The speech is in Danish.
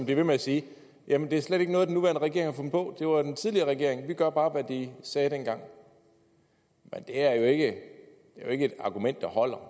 ved med at sige jamen det er slet ikke noget den nuværende regering har fundet på det var den tidligere regering og vi gør bare hvad de sagde dengang men det er jo ikke et argument der holder